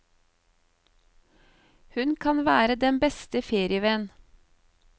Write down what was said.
Hun kan være den beste ferievenn.